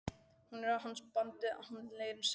Hún er á hans bandi, það leynir sér ekki.